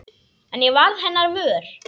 En ég varð hennar vör.